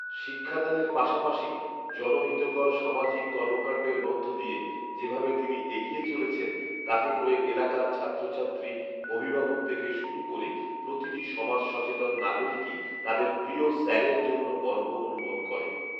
শিক্ষা দানের পাশাপাশি জনহিতকর সামাজিক কর্মকাণ্ডের মধ্য দিয়ে যেভাবে তিনি এগিয়ে চলেছেন, তাতে করে এলাকার ছাত্রছাত্রী, অভিভাবক থেকে শুরু করে প্রতিটি সমাজ সচেতন নাগরিকই তাঁদের “প্ৰিয় স্যার” এর জন্য গর্ব অনুভব করে